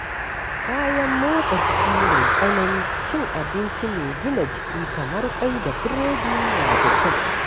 Bayan motsa jiki mai tsanani, cin abinci mai gina jiki kamar kwai da biredi na da kyau.